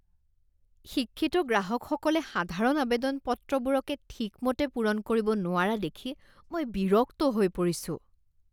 শিক্ষিত গ্ৰাহকসকলে সাধাৰণ আৱেদন পত্ৰবোৰকে ঠিকমতে পূৰণ কৰিব নোৱাৰা দেখি মই বিৰক্ত হৈ পৰিছোঁ।